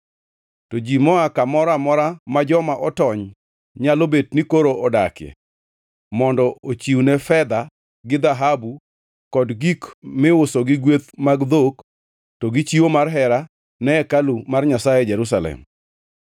To ji moa kamoro amora ma joma otony nyalo bet ni koro odakie mondo ochiwne fedha gi dhahabu, kod gik miuso gi kweth mag dhok, to gi chiwo mar hera ne hekalu mar Nyasaye e Jerusalem.’ ”